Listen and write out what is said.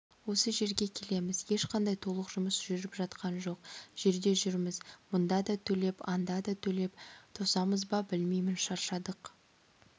осы жерге келеміз ешқандай толық жұмыс жүріп жатқан жоқ жерде жүрміз мында да төлеп анда да төлеп тосамыз ба білмеймін шаршадық